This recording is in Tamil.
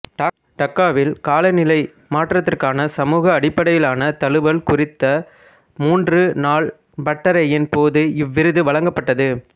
டாக்காவில் காலநிலை மாற்றத்திற்கான சமூக அடிப்படையிலான தழுவல் குறித்த மூன்று நாள் பட்டறையின் போது இவ்விருது வழங்கப்பட்டது